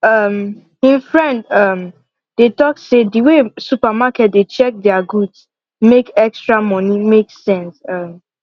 um him friend um dey talk say the way supermarket dey check their goods make the extra money make sense um